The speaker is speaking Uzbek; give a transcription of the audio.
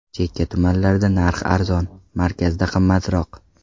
Chekka tumanlarda narx arzon, markazda qimmatroq.